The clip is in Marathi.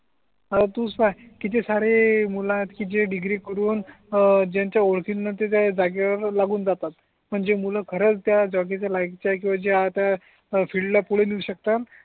हा तु सांग किती सारे मूल आहेत की जे डिग्री करून ज्यांच्या ओळखीन ते त्या जागे वर लागून जातात आणि जे मूल खरच त्या जागेच्या लायकीच्या आहे किवा ज्या आता फील्डला पूड नेऊ शकतात